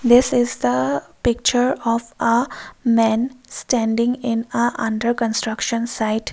this is the picture of a man standing in a under construction site.